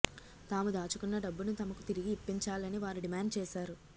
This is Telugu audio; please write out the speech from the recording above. తాము దాచుకున్న డబ్బును తమకు తిరిగి ఇప్పించాలని వారు డిమాండ్ చేశారు